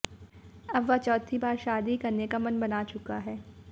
वह अब चौथी बार शादी करने का मन बना चुका है